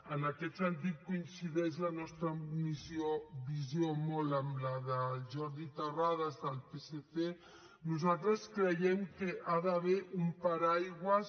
en aquest sentit coincideix la nostra visió molt amb la del jordi terrades del psc nosaltres creiem que hi ha d’haver un paraigua